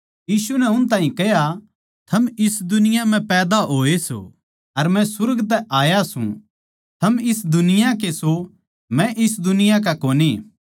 यीशु नै उस ताहीं कह्या थम इस दुनिया म्ह पैदा होए सों अर मै सुर्ग तै आया सूं थम इस दुनिया के सो मै इस दुनिया का कोनी